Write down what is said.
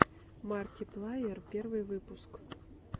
марки плайер первый выпуск